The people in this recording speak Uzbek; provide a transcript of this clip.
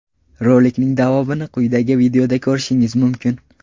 Rolikning davomini quyidagi videoda ko‘rishingiz mumkin.